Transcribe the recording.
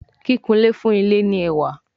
Kìkunlé fún ilé ní ẹwà.